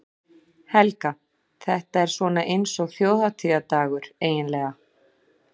Helga: Þetta er svona eins og þjóðhátíðardagur, eiginlega?